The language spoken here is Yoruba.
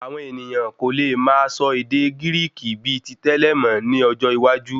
Àwọn ènìyàn kò lè máa sọ ède Gíríkì bíi tí tẹlẹ mọ ní ọjọ́ iwájú